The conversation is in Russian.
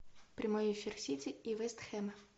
прямой эфир сити и вест хэм